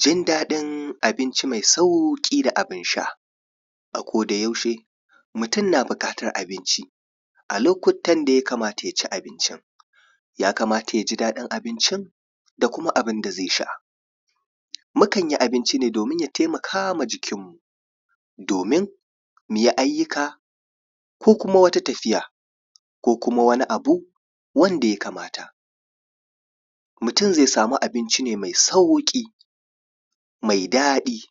jin daɗin abinci mai sauƙi da abun sha a koda yaushe mutum na buƙatar abinci a lokutan da ya kamata yaci abincin ya kamata yaji daɗin abincin da kuma abunda zai sha mukan yi abinci ne domin ya taimakawa jikin mu domin muyi ayyuka ko kuma wata tafiya ko kuma wani abu wanda ya kamata mutum zai samu abinci ne mai sauƙi mai daɗi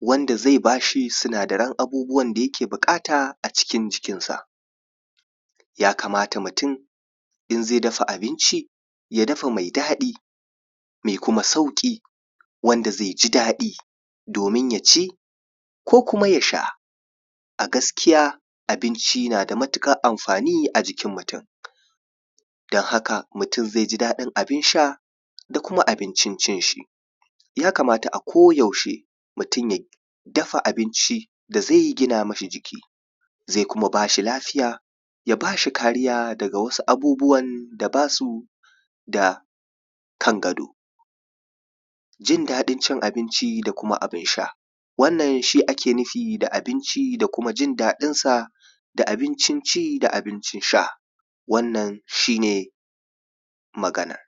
wanda zai bashi sinadaran abubuwan da yake buƙata a cikin jikin sa ya kamata mutum in zai dafa abinci ya dafa mai daɗi mai kuma sauƙi wanda zai ji daɗi domin yaci ko kuma yasha a gaskiya abinci nada matuƙar amfani a jikin mutum don haka mutum zai ji daɗin abin sha da kuma abincin cin shi ya kamata a ko yaushe mutum ya dafa abinci da zai gina mishi jiki zai kuma bashi lafiya ya bashi kariya daga wasu abubuwan da basu da kan gado jin daɗin cin abinci da kuma abun sha wannan shi ake nufi da abinci da kuma jin daɗin sa da abincin ci da abincin sha wannan shi ne maganar